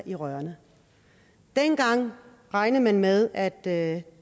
i rørene dengang regnede man med at at